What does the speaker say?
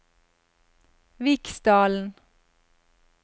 Viksdalen